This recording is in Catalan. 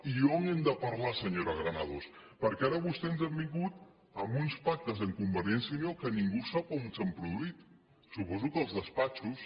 i on hem de parlar senyora granados perquè ara vostè ens ha vingut amb uns pactes amb convergència i unió que ningú sap on s’han produït suposo que als despatxos